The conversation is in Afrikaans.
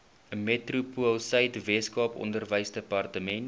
metropoolsuid weskaap onderwysdepartement